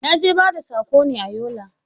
Na je bada sako ne a Yola